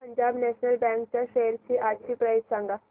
Punjab national bank च्या shares आजची price सांगा